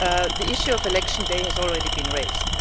The issue of election day has already been raised.